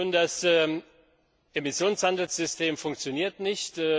Das Emissionshandelssystem funktioniert nicht.